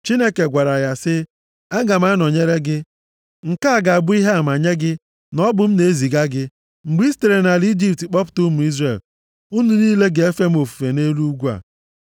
Chineke gwara ya sị, “Aga m anọnyere gị. Nke a ga-abụ ihe ama nye gị na ọ bụ m na-eziga gị. Mgbe i sitere nʼala Ijipt kpọpụta ụmụ Izrel, unu niile ga-efe m ofufe nʼelu ugwu a.”